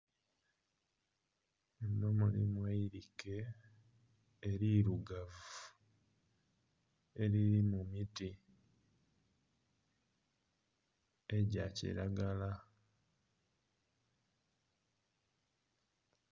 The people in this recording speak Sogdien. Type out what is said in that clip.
Muno mulimu eirike erirugavi eriri mu miti egya kilagala.